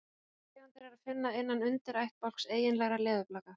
þessar tegundir er að finna innan undirættbálks eiginlegra leðurblaka